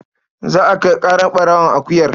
Za a kai ƙarar ɓarawon akuyar.